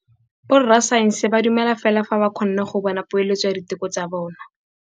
Borra saense ba dumela fela fa ba kgonne go bona poeletsô ya diteko tsa bone.